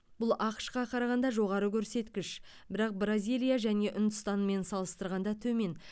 бұл ақш қа қарағанда жоғары көрсеткіш бірақ бразилия және үндістанмен салыстырғанда төмен